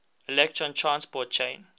electron transport chain